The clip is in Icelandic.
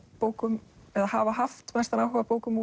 bókum eða hafa haft mestan áhuga á bókum